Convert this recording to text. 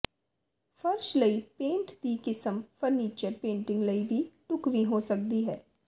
ਫ਼ਰਸ਼ ਲਈ ਪੇਂਟ ਦੀ ਕਿਸਮ ਫ਼ਰਨੀਚਰ ਪੇਂਟਿੰਗ ਲਈ ਵੀ ਢੁਕਵੀਂ ਹੋ ਸਕਦੀ ਹੈ